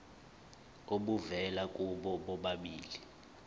obuvela kubo bobabili